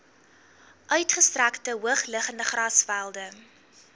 uitgestrekte hoogliggende grasvelde